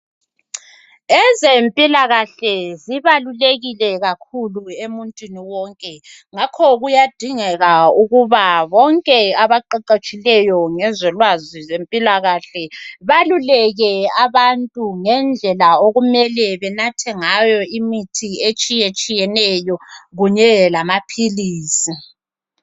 Ezempilakahle zibalulekile kakhulu emuntwini wonke ngakho kuyadingeka ukuba bonke abaqeqetshileyo ngezolwazi lwezempilakahle baluleke abantu ngendlela okumele benathe ngayo imithi etshiyetshiyeneyo kunyeke lamaphilisi.